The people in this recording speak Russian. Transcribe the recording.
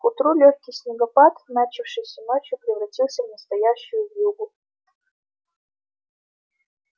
к утру лёгкий снегопад начавшийся ночью превратился в настоящую вьюгу